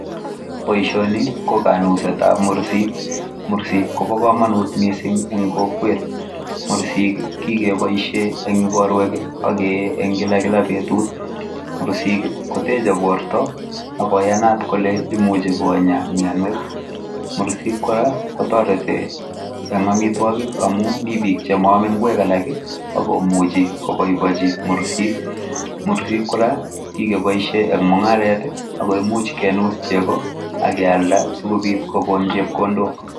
Boishoni ko kanusetap mursik. Mursik kopo komonut mising eng kokwet. Mursik kikepoishe eng ikorwek akee eng kilakila betut. Murusik koteche borto akoyanat kole imuchi konya mionwek. Murusik kora kotoreti eng amitwokik amu mi biik chemoome ng'wek alak akomuchi koboibochi murusik. Murusik kora kikepoishe eng mung'aret ako imuch kenus chego akealda sikobit kokon chepkondok.